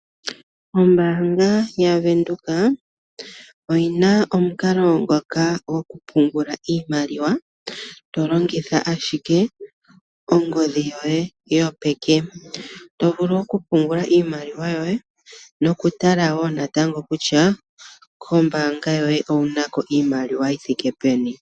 Ombaanga yavenduka oyina omukalo ngoka gokupungula iimaliwa to longitha ashike ongodhi yoye yopeke. Oto vulu okupungula iimaliwa yoye nokutala kutya kombaanga yoye ounako iimaliwa yithike peni.